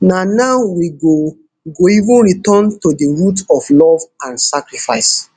na now we go go even return to di root of love and sacrifice